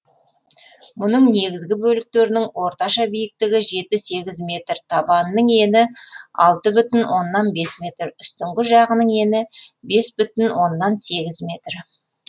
мұның негізгі бөліктерінің орташа биіктігі жеті сегіз метр табанының ені алты бүтін оннан бес метр үстіңгі жағының ені бес бүтін оннан сегіз метр